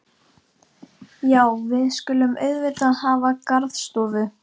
Já, við skulum auðvitað hafa garðstofu.